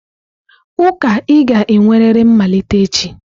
Ụka ị ga-enwerịrị mmalite echi!